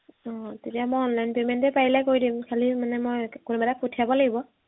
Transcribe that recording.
উম তেতিয়া মই online payment এই পাৰিলে কৰি দিম খালি মানে মই কোনোবা এটাক পঠিয়াব লাগিব